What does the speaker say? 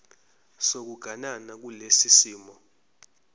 sokuganana kulesi simo